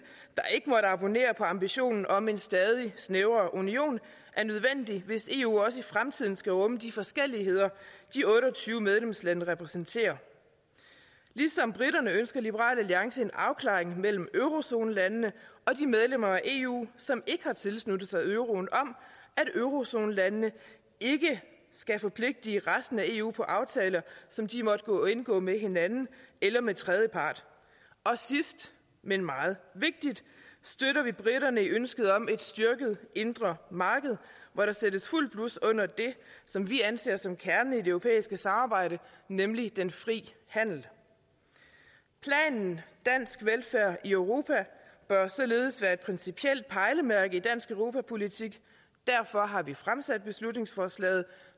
der ikke måtte abonnere på ambitionen om en stadig snævrere union er nødvendig hvis eu også i fremtiden skal rumme de forskelligheder de otte og tyve medlemslande repræsenterer ligesom briterne ønsker liberal alliance en afklaring mellem eurozonelandene og de medlemmer af eu som ikke har tilsluttet sig euroen om at eurozonelandene ikke skal forpligte resten af eu på aftaler som de måtte indgå med hinanden eller med tredjepart sidst men meget vigtigt støtter vi briterne i ønsket om et styrket indre marked hvor der sættes fuldt blus under det som vi anser som kernen i det europæiske samarbejde nemlig den frie handel planen dansk velfærd i europa bør således være et principielt pejlemærke i dansk europapolitik derfor har vi fremsat beslutningsforslaget